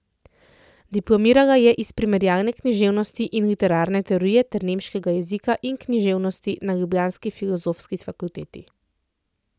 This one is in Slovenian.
Diplomirala je iz primerjalne književnosti in literarne teorije ter nemškega jezika in književnosti na ljubljanski Filozofski fakulteti.